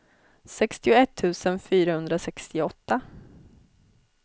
sextioett tusen fyrahundrasextioåtta